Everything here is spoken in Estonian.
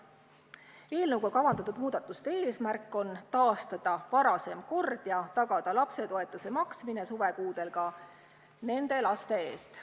Eelnõuga kavandatud muudatuste eesmärk on taastada varasem kord ja tagada lapsetoetuse maksmine suvekuudel ka nende laste eest.